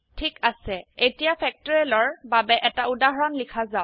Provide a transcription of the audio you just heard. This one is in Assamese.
ঠিক আছে এতিয়া ফেক্টৰিয়েল ৰ বাবে এটা উদাহৰণ লিখা যাওক